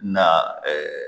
Na